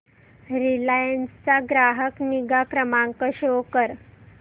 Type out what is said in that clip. Reliance चा ग्राहक निगा क्रमांक शो कर